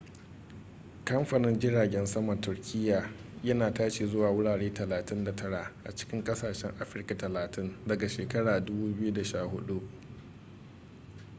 kamfanin jiragen saman turkiya yana tashi zuwa wurare 39 a cikin kasashen afirka 30 daga shekarar 2014